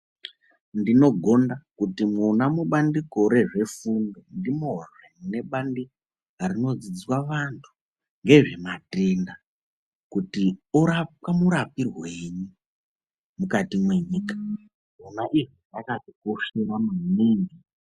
Ndinogonda kuti mwona mubandiko rezvesimbi, ndimozve mune bandiko rinodzidziswa vantu ngezvematenda kuti orapwa murapirwei mukati mwenyika. Zvona izvi zvakatikoshera maningi.